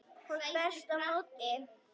Hún berst á móti.